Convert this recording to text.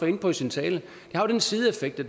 inde på i sin tale have den sideeffekt at